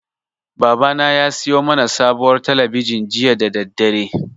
Babana ya siyo mana sabuwar talabijin jiya da daddare.